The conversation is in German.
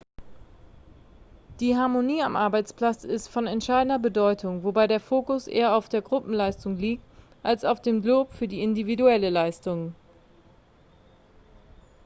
die harmonie am arbeitsplatz ist von entscheidender bedeutung wobei der fokus eher auf der gruppenleistung liegt als auf dem lob für individuelle leistungen